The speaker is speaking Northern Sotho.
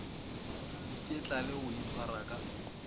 iketla le go itshwara ka